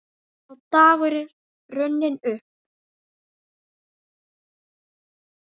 Sá dagur er runninn upp.